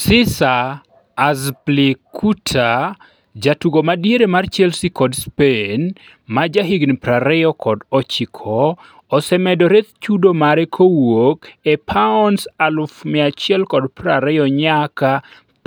Cesar Azpilicueta, jatugo ma diere mar Chelsea kod Spain, ma jahigni 29, osemedore chudo mare kowuok e €120,000 nyaka